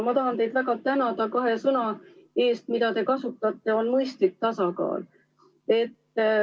Ma tahan teid väga tänada kahe sõna eest, mida te kasutasite, need on "mõistlik tasakaal".